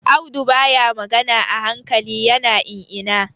Audu baya magana a hankali, ya na in-ina.